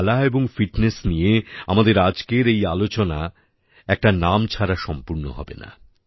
খেলা এবং ফিটনেস নিয়ে আমাদের আজকের এই আলোচনা একটা নাম ছাড়া সম্পূর্ণ হবে না